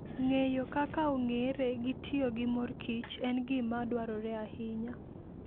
Ng'eyo kaka ong'ere gi tiyo gi mor kich en gima dwarore ahinya.